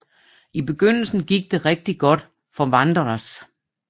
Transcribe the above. I begyndelsen gik det rigtig godt for Wanderers